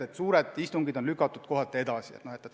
Osa suuri istungeid on edasi lükatud.